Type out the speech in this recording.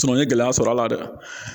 n ye gɛlɛya sɔrɔ a la dɛ